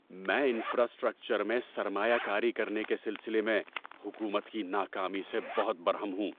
میں انفراسٹرکچر میں سرمایہ کاری کرنے کے سلسلے میں حکومت کی ناکامی سے بہت برہم ہوں۔